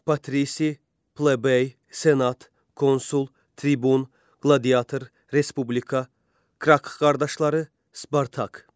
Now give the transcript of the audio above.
Patri, plebey, senat, konsul, tribun, qladiiator, respublika, Kark qardaşları, Spartak.